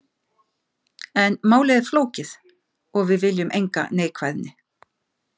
En málið er flókið og við viljum enga neikvæðni.